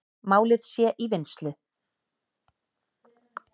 Málið sé í vinnslu.